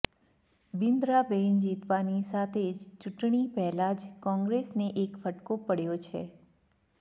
બ્રિંદાબેન જીતવાની સાથે જ ચૂંટણી પહેલા જ કોંગ્રેસને એક ફટકો પડ્યો છે